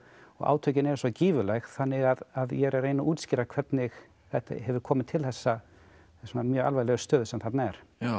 og átökin eru svo gífurleg þannig að ég er að reyna að útskýra hvernig hefur komið til þessarar mjög alvarlegu stöðu sem þarna er